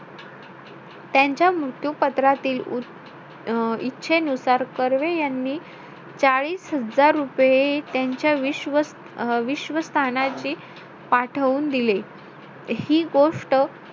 छान छान मच्छी छान छान सगळ एकदम बघण्यासारखं असतं गावाला तर मी सांगते आमच्या गावचे माहिती माझं गाव एवढं सुंदर आहे माझ्या गावाचं नाव ओवी आहे माझ्या आईकडचं.